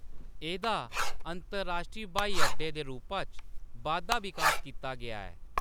एह्‌‌‌दा अंतरराश्टरी ब्हाई अड्डे दे रूपा च बाद्धा-विकास कीता गेआ ऐ।